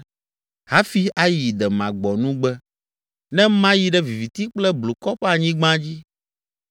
hafi ayi demagbɔnugbe, ne mayi ɖe viviti kple blukɔ ƒe anyigba dzi,